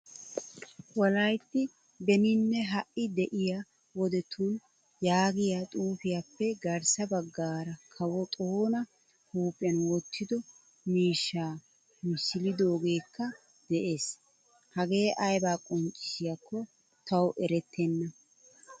Wolaytti beninne ha'i de'iyaa wodettun yaagiyaa xuufiyaappe garssa baggaara kawo xoona huuphphiyan wottido miishshaa misilidogekka de'ees' Hage ayba qonccisiyakko tawu erettena.